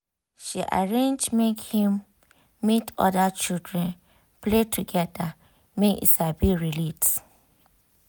she arrange make him meet other children play together make e sabi relate